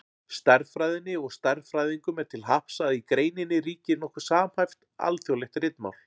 Stærðfræðinni og stærðfræðingum er til happs að í greininni ríkir nokkuð samhæft, alþjóðlegt ritmál.